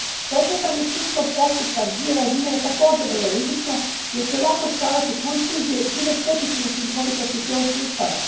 Pokretanje sudskog postupka s dvije razine je također vrlo rizično jer će lako stvarati konfuzije i time štetiti učinkovitosti cijelog sustava.